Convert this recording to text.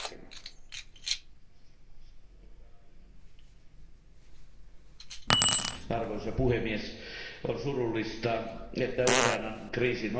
Arvoisa puhemies, on surullista, että Ukrainan kriisin ohella Venäjän valtio loukkaa myös omien kansalaistensa oikeuksia.